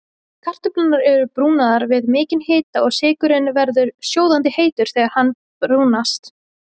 Kartöflur eru brúnaðar við mikinn hita og sykurinn verður sjóðandi heitur þegar hann brúnast.